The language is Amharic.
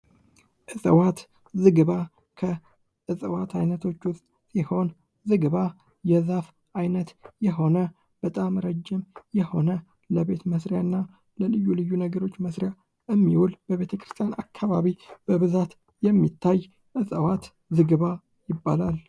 እጽዋት ዝግባ ከጸዋት አይነቶች ውስጥ ሲሆን ዝግባ የዛፍ አይነት የሆነ በጣም ረጅም የሆነ ለቤት መስሪያ እና ለልዩ ልዩ ነገሮች መስሪያ የሚውል ቤተክርስቲያን አካባቢ በብዛት የሚታይ እጽዋት ዝግባ ይባላል ::